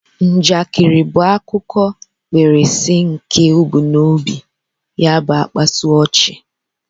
Njakịrị bụ akụkọ mkpirisi nke ebumnobi ya bu ịkpasu ochi